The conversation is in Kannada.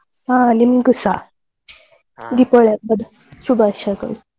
ಹಾ ನಿಮ್ಗೂಸ. ದೀಪಾವಳಿ ಹಬ್ಬದ ಶುಭಾಶಯಗಳು.